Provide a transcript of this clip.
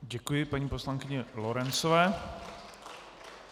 Děkuji paní poslankyni Lorencové.